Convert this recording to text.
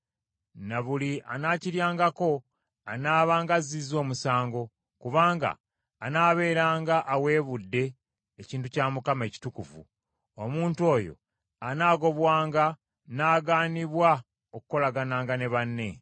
ne buli anaakiryangako anaabanga azzizza omusango; kubanga anaabeeranga aweebudde ekintu kya Mukama ekitukuvu; omuntu oyo anaagobwanga n’agaanibwa okukolagananga ne banne.